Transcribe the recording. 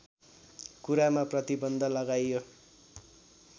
कुरामा प्रतिबन्ध लगाइयो